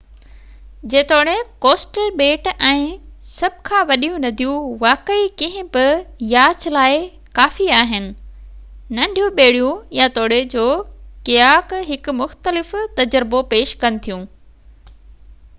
جيتوڻيڪ ڪوسٽل ٻيٽ ۽ سڀ کان وڏيون نديون واقعي ڪنهن به ياچ لاءِ ڪافي آهن ننڍيون ٻيڙيون يا توڙي جو ڪياڪ هڪ مختلف تجربو پيش ڪن ٿيون